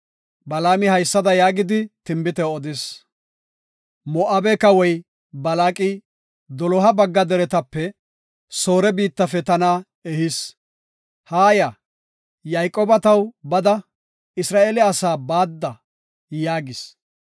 Balaami haysada yaagidi tinbite odis; “Moo7abe kawoy, Balaaqi, doloha bagga deretape, Soore biittafe tana ehis; ‘Haa ya; Yayqooba taw bada; Isra7eele asaa baadda’ yaagis.